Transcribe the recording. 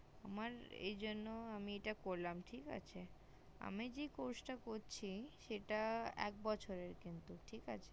আমার এই জন্য আমি এটা করলাম ঠিক আছে আমি যে course টা করছি সেটা এক বছরের কিন্তু ঠিক আছে